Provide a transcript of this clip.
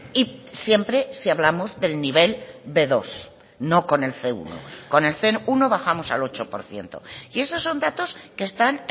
y siempre si hablamos del nivel be dos no con el ce uno con el ce uno bajamos al ocho por ciento y esos son datos que están